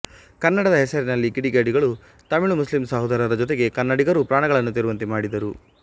ಕನ್ನಡದ ಹೆಸರಿನಲ್ಲಿ ಕಿಡಿಗೇಡಿಗಳು ತಮಿಳು ಮುಸ್ಲಿಮ್ ಸಹೋದರರ ಜೊತೆಗೆ ಕನ್ನಡಿಗರೂ ಪ್ರಾಣಗಳನ್ನು ತೆರುವಂತೆ ಮಾಡಿದರು